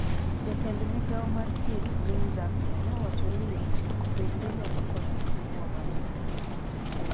jatend migao mar thieth e piny Zambia ne owacho ni yudruok bende nyalo konyo e luwo mapiyo